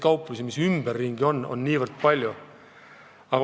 Kauplusi on ümberringi nii palju.